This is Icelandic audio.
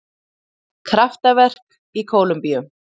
Kraftaverk í Kólumbíu